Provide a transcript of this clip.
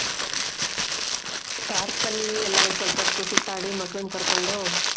Park ಅಲ್ಲಿ ಎಲ್ಲ ಒಂದು ಸ್ವಲ್ಪ ಹೊತ್ತು ಸುತ್ತಾಡಿ ಮಕ್ಳನ್ನ ಕರ್ಕೊಂಡು .